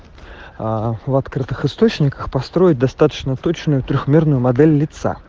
а в открытых источниках построить достаточно точную трёхмерную модель лица